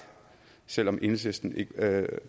selv om enhedslisten ikke